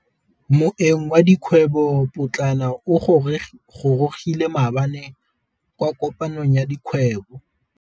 Moêng wa dikgwêbô pôtlana o gorogile maabane kwa kopanong ya dikgwêbô.